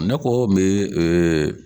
Ne kɔ me